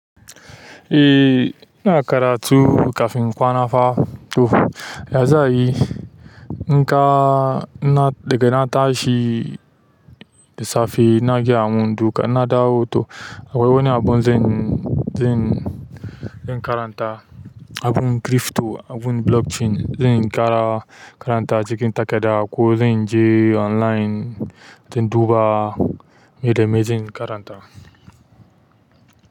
Eh, ina karatu kafin kwana fa to. Ya zayi, in ka, na daga na tashi da safe naje a amun duka na dawo to akwai wani abun zan, zan, zan karanta. Abun krifpto, abun blockchain, zan ƙara karanta a cikin takada ko zan je online dun in duba meye da meye zan karanta.